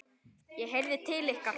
ég heyrði til ykkar!